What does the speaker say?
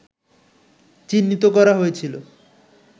চিহ্নিত করা হয়েছিল